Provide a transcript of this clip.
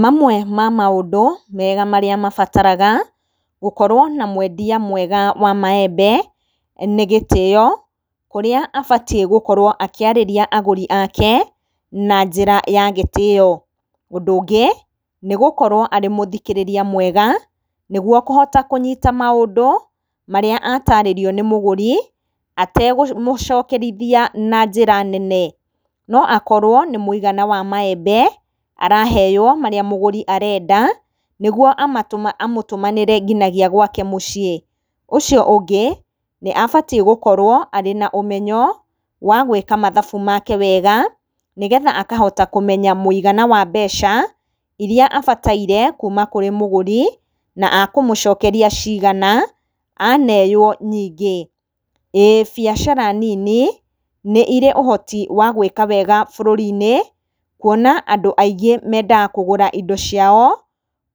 Mamwe ma maũndũ mega marĩa mabataraga gũkorwo na mwendia mwega wa maembe, nĩ gĩtĩo, kũrĩa abatiĩ gũkorwo akĩarĩria agũri ake, na njĩra ya gĩtĩo, ũndũ ũngĩ, nĩ gũkorwo arĩ mũthikĩrĩria mwega, nĩguo kũhota kũnyita maũndũ, marĩa atarĩrio nĩ mũgũri, atekũmũcokerithia na njĩra nene, no akorwo nĩ mũigana wa maembe araheyo marĩa mũgũri arenda, nĩguo amatũme amũtũmanĩre nginagia gwake mũciĩ, ũcio ũngĩ nĩ abatiĩ gũkorwo arĩ na ũmenyo, wagwĩka mathabu make wega, nĩ getha akahota kũmenya mwĩigana wa mbeca, iria abataire kuuma kũrĩ mũgũri, na ekũmũcokeria cigana, aneyo nyingĩ, ĩĩ biacara nini, nĩire ũhoti wa gwĩka wega bũrũri-inĩ, kuona andũ aingĩ mendaga kũgũra indo ciao,